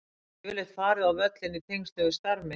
Ég hef yfirleitt farið á völlinn í tengslum við starf mitt.